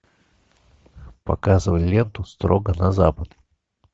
показывай ленту строго на запад